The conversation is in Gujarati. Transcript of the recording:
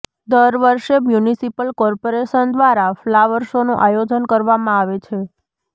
દરવર્ષે મ્યુનિસિપલ કોર્પોરેશન દ્વારા ફ્લાવર શોનું આયોજન કરવામાં આવે છે